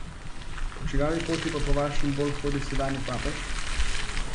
Po čigavi poti pa po vašem bolj hodi sedanji papež?